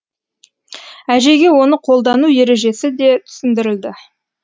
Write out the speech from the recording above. әжейге оны қолдану ережесі де түсіндірілді